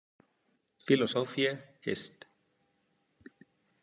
, philosophiae- Hist.